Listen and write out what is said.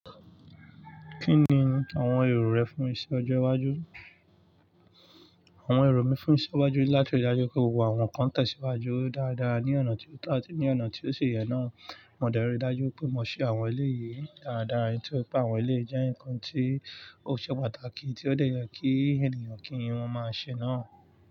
Kí ni àwọn èrò rẹ fún iṣẹ́ ọjọ́ iwájú? Àwọn èrò mi fún iṣẹ́ iwájú ni láti rí dájú pé gbogbo àwọn nǹkan tẹ̀síwájú dáadáa ní ọ̀nà tí ó tàbí ní ọ̀nà tí ó ṣe yẹ náà. Mo dárí dájú pé mo ṣe àwọn eléyi yìí dáadáa, èyí tó pé àwọn eléyi jẹ́ nǹkan tí ó ṣe pàtàkì tí ó dè yẹ kí ènìyàn kí wọ́n máa ṣe náà.